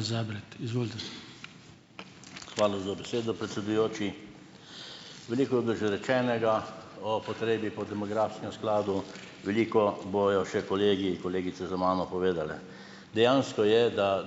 Zabret, izvolite . Hvala za besedo, predsedujoči. Veliko je bilo že rečenega o potrebi po demografskem skladu, veliko bojo še kolegi in kolegice za mano povedale. Dejansko je, da